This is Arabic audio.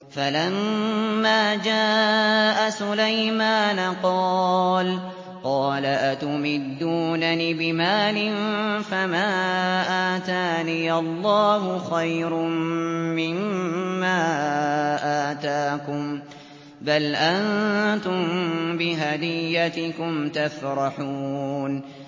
فَلَمَّا جَاءَ سُلَيْمَانَ قَالَ أَتُمِدُّونَنِ بِمَالٍ فَمَا آتَانِيَ اللَّهُ خَيْرٌ مِّمَّا آتَاكُم بَلْ أَنتُم بِهَدِيَّتِكُمْ تَفْرَحُونَ